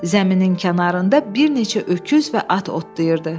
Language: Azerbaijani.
Zəminin kənarında bir neçə öküz və at otlayırdı.